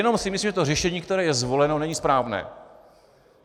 Jen si myslím, že to řešení, které je zvoleno, není správné.